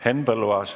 Henn Põlluaas.